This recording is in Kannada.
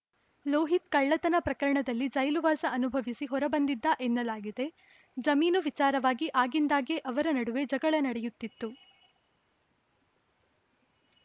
ಲೋಹಿತ್‌ ಕಳ್ಳತನ ಪ್ರಕರಣದಲ್ಲಿ ಜೈಲುವಾಸ ಅನುಭವಿಸಿ ಹೊರಬಂದಿದ್ದಎನ್ನಲಾಗಿದೆ ಜಮೀನು ವಿಚಾರವಾಗಿ ಆಗಿಂದಾಗ್ಗೆ ಅವರ ನಡುವೆ ಜಗಳ ನಡೆಯುತ್ತಿತ್ತು